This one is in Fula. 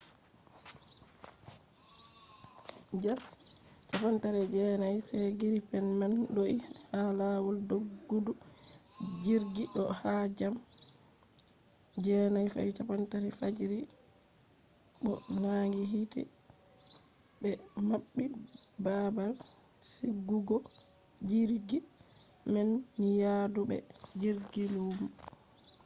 jas 39c gripen man do’i ha lawol doggudu jirgi do ha jam 9:30 fajiri 0230 utc bo nangi hiite be mabbi babal sigugojirgi man ni yaadu be jirgi lumo